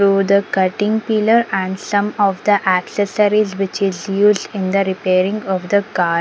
so the cutting pillar and some of the accessories which is used in the reparing of the car.